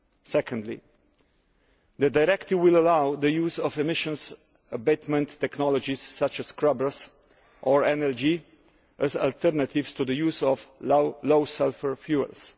Secondly, the directive will allow the use of emissions abatement technologies, such as scrubbers, or LNG as alternatives to the use of low sulphur fuels.